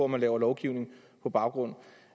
man laver lovgivning på baggrund